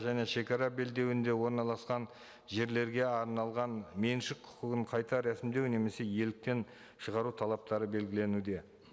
және шегара белдеуінде орналасқан жерлерге арналған меншік құқығын қайта рәсімдеу немесе иеліктен шығару талаптары белгіленуде